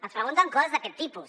ens pregunten coses d’aquest tipus